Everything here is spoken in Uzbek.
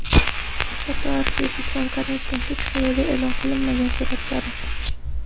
Fotoarxiv: Islom Karimovning hech qayerda e’lon qilinmagan suratlari.